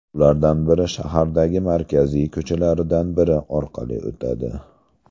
Ulardan biri shahardagi markaziy ko‘chalardan biri orqali o‘tadi.